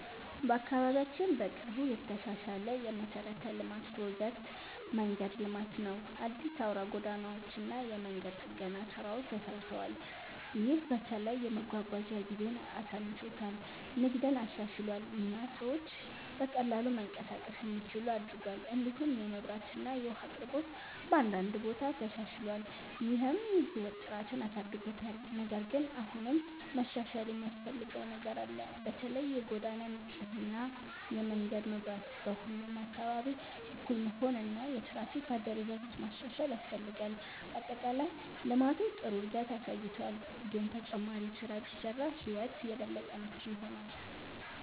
በአካባቢያችን በቅርቡ የተሻሻለ የመሠረተ ልማት ፕሮጀክት መንገድ ልማት ነው። አዲስ አውራ ጎዳናዎች እና የመንገድ ጥገና ስራዎች ተሰርተዋል። ይህ በተለይ የመጓጓዣ ጊዜን አሳንሶታል፣ ንግድን አሻሽሏል እና ሰዎች በቀላሉ መንቀሳቀስ እንዲችሉ አድርጓል። እንዲሁም የመብራት እና የውሃ አቅርቦት በአንዳንድ ቦታ ተሻሽሏል፣ ይህም የህይወት ጥራትን አሳድጎታል። ነገር ግን አሁንም መሻሻል የሚያስፈልገው ነገር አለ። በተለይ የጎዳና ንጽህና፣ የመንገድ መብራት በሁሉም አካባቢ እኩል መሆን እና የትራፊክ አደረጃጀት ማሻሻል ያስፈልጋል። በአጠቃላይ ልማቱ ጥሩ እድገት አሳይቷል፣ ግን ተጨማሪ ስራ ቢሰራ ሕይወት የበለጠ ምቹ ይሆናል።